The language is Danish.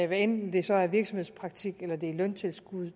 hvad enten det så er virksomhedspraktik eller løntilskud